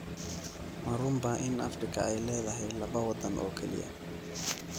Ma runbaa in Afrika ay leedahay laba waddan oo keliya?